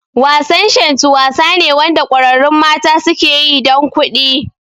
Wasan Shantu wasa ne Wanda kwararrun mata suke yi dan kuɗi